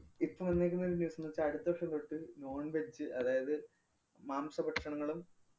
ഇപ്പൊ വന്നേക്കുന്നൊരു news ന്ന് വെച്ചാ അടുത്ത വര്‍ഷം തൊട്ട് non-veg അതായത് മാംസ ഭക്ഷണങ്ങളും